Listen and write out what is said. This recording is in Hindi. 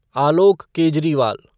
आलोक केजरीवाल